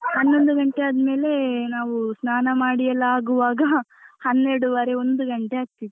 ಹನ್ನೊಂದು ಗಂಟೆ ಆದ್ಮೇಲೆ ನಾವು ಸ್ನಾನ ಮಾಡಿಯೆಲ್ಲ ಆಗುವಾಗ ಹನ್ನೆರೆಡುವರೆ ಒಂದು ಗಂಟೆ ಆಗ್ತಿತ್ತು.